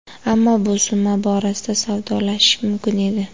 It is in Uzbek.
Ammo bu summa borasida savdolashish mumkin edi.